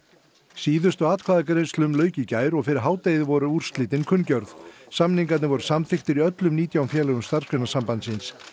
síðustu atkvæðagreiðslum lauk í gær og fyrir hádegið voru úrslitin kunngjörð samningar voru samþykktir í öllum nítján félögum Starfsgreinasambandsins